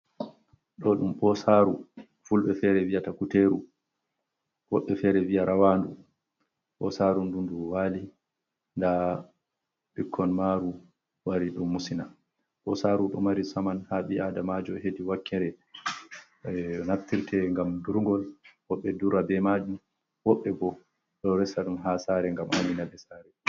Ɗo ɗum Ɓoosaaru, Fulɓe feere viyata Kuteeru, woɓɓe feere viya Rawaandu, Ɓoosaaru ndu ndu waali nda ɓikkon maaru wari ɗon musina, Ɓoosaaru ɗo mari saman haa bi'aadamaajo heedi wakkere naftirte ngam durngol, woɓɓe dura bee maajum, woɓɓe boo ɗo resa ɗum haa saare ngam aynina ɓe saare